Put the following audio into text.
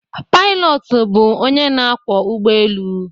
Pailọtụ bụ onye na akwọ ụgbọ elu.